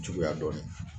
Juguya dɔɔnin